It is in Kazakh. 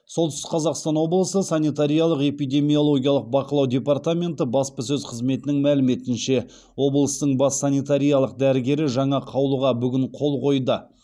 солтүстік қазақстан облысы санитариялық эпидемиологиялық бақылау департаменті баспасөз қызметінің мәліметінше облыстың бас санитариялық дәрігері жаңа қаулыға бүгін қол қойды